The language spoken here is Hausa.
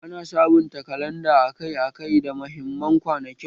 Ana sabunta kalanda akai-akai da mahimman kwanakin